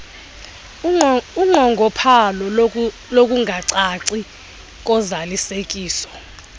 unqongophalo lokungacaci kozalisekiso